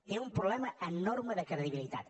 té un problema enorme de credibilitat